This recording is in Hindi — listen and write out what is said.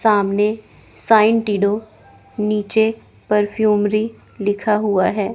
सामने साइंटिडो नीचे परफ्यूमरी लिखा हुआ है।